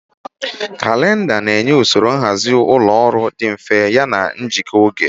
Kalịnda na-enye usoro nhazi ụlọ ọrụ dị mfe yana njikwa oge.